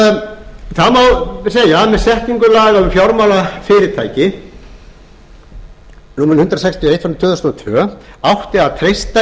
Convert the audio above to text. með setningu laga um fjármálafyrirtæki númer hundrað sextíu og eitt tvö þúsund og tvö átti að treysta